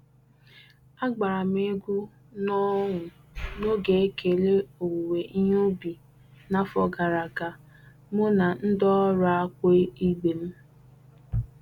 Agbara m egwu n'ọṅụ n'oge ekele owuwe ihe ubi n'afọ gara aga mụ na ndị ọrụ akpu ibe m.